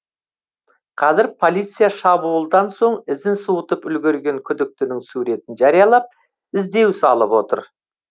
қазір полиция шабуылдан соң ізін суытып үлгерген күдіктінің суретін жариялап іздеу салып отыр